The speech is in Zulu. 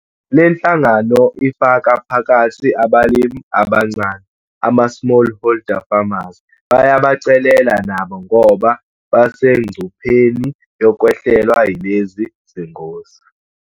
Le nhlangano ifaka phakathi abalimi abancane ama-smallholder farmers bayabacelela nabo ngoba basengcupheni yokwehlelwa yilezi zingozi.